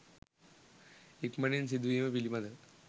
ඉක්මනින් සිදුවීම පිළිබඳව